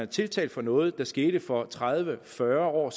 tiltalt for noget der skete for tredive eller fyrre år